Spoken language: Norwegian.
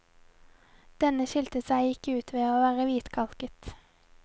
Denne skilte seg ut ved ikke å være hvitkalket.